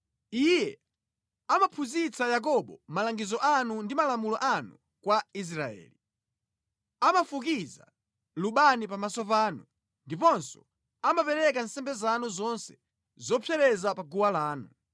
Iye amaphunzitsa Yakobo malangizo anu ndi malamulo anu kwa Israeli. Amafukiza lubani pamaso panu ndiponso amapereka nsembe zanu zonse zopsereza pa guwa lanu.